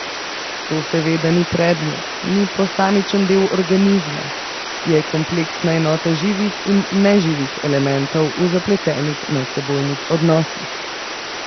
To seveda ni predmet, ni posamičen del organizma, je kompleksna enota živih in neživih elementov v zapletenih medsebojnih odnosih.